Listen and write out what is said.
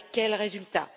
Avec quel résultat?